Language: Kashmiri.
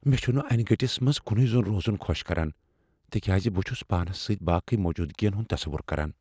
مےٚ چُھنہٕ انہِ گٔٹِس منٛز کُنوے زوٚن روزن خۄش کران تِكیازِ بہٕ چھس پانس سۭتۍ باقٕے موجوٗدگین ہنٛد تصور کران۔